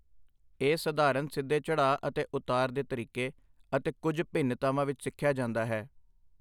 ਇਹ ਸਧਾਰਨ ਸਿੱਧੇ ਚੜ੍ਹਾਅ ਅਤੇ ਉਤਾਰ ਦੇ ਤਰੀਕੇ ਅਤੇ ਕੁੱਝ ਭਿੰਨਤਾਵਾਂ ਵਿੱਚ ਸਿੱਖਿਆ ਜਾਂਦਾ ਹੈ।